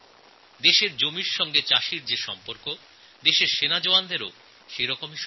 কৃষকদের দেশের জমির সঙ্গে যতটা ঘনিষ্ঠ সম্পর্ক আমাদের দেশের জওয়ানদেরও তাই